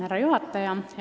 Härra juhataja!